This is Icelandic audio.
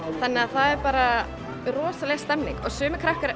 það er rosalega stemning sumir krakkar